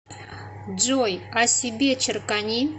джой о себе черкани